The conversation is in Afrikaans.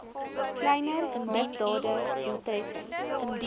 kleiner misdade doeltreffend